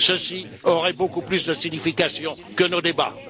Ceci aurait beaucoup plus de signification que nos débats.